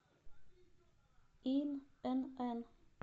инн